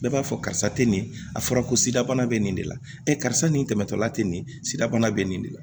Bɛɛ b'a fɔ karisa tɛ nin a fɔra ko sidabana bɛ nin de la karisa nin tɛmɛtɔla tɛ nin sida bana bɛ nin de la